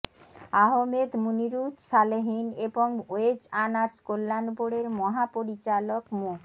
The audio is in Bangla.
আহমেদ মুনিরুছ সালেহীন এবং ওয়েজ আর্নার্স কল্যাণ বোর্ডের মহাপরিচালক মো